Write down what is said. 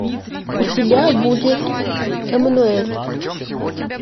у тебя будет эммануэль